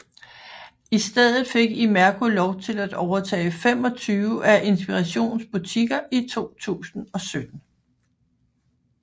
I stedet fik Imerco lov til at overtage 25 af Inspirations butikker i 2017